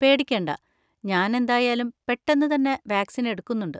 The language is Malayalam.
പേടിക്കേണ്ട, ഞാൻ എന്തായാലും പെട്ടെന്ന് തന്നെ വാക്‌സിൻ എടുക്കുന്നുണ്ട്.